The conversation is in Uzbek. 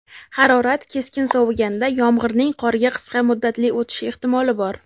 harorat keskin soviganda yomg‘irning qorga qisqa muddatli o‘tishi ehtimoli bor.